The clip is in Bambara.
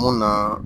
Mun na